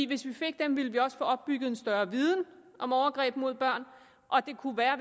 hvis vi fik dem ville vi også få opbygget en større viden om overgreb mod børn og det kunne være